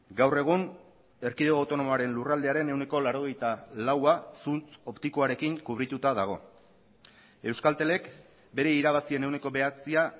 gaur egun erkidego autonomoaren lurraldearen ehuneko laurogeita laua zuntz optikoarekin kubrituta dago euskaltelek bere irabazien ehuneko bederatzia